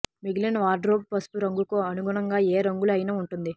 మిగిలిన వార్డ్రోబ్ పసుపు రంగుకు అనుగుణంగా ఏ రంగులు అయినా ఉంటుంది